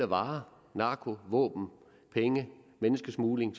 varer narko våben penge og menneskesmugling